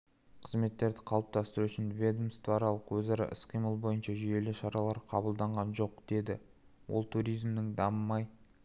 қызметтерді қалыптастыру үшін ведомствоаралық өзара іс-қимыл бойынша жүйелі шаралар қабылданған жоқ деді ол туризмнің дамымай